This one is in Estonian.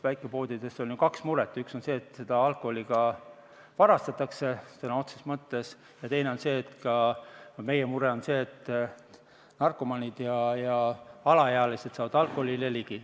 Väikepoodides on ju kaks muret: üks on see, et seda alkoholi varastatakse, sõna otseses mõttes, ja teine on see, mis on ka meie mure, et narkomaanid ja alaealised saavad alkoholile ligi.